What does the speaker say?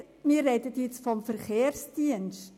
Es handelt sich vorliegend jedoch um den Verkehrsdienst.